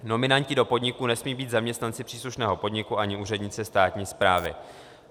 Nominanti do podniků nesmějí být zaměstnanci příslušného podniku ani úředníci státní správy.